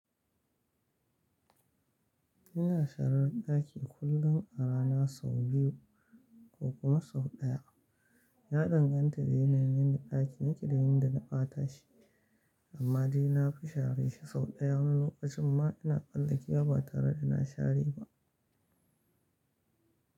Ina sharar daki kullum a rana sau biyu ko kuma sau ɗaya. Ya danganta da yanayin da dakin yake da yadda na ɓata shi, amma jiya na fi share shi sau ɗaya, wani lokacin ma ina tsallakewa ba tare da na share ba.